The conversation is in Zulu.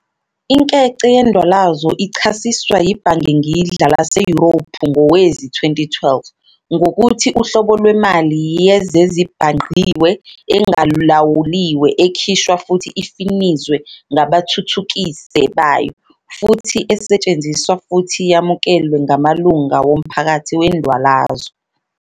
Inkece yendwalazo ichasiswa yiBhangengidla laseYurophu ngowezi-2012, ngokuthi "uhlobo lwemali yezezibhangqiwe, engalawuliwe, ekhishwa futhi ifinizwe ngabathuthukise bayo, futhi esetshenziswa futhi yamukelwe ngamalunga womphakathi wendwalazo."